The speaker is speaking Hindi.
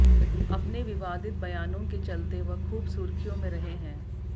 अपने विवादित बयानों के चलते वह खूब सुर्खियों में रहे हैं